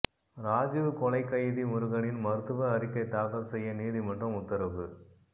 ராஜீவ் கொலைக் கைதி முருகனின் மருத்துவ அறிக்கை தாக்கல் செய்ய நீதிமன்றம் உத்தரவு